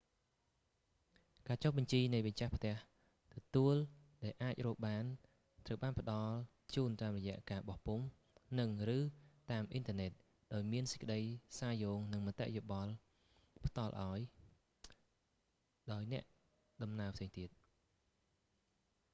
ការចុះបញ្ជី​នៃម្ចាស់ផ្ទះទទួល​ដែលអាចរកបានត្រូវបានផ្តល់​ជូន​តាម​រយៈ​ការបោះពុម្ព និង/ឬតាម​អ៊ីនធឺណិត ដោយមានសេចក្តីសារ​យោង និង​មតិ​យោបល់ផ្តល់ឱ្យ ដោយអ្នកដំណើរផ្សេងទៀត។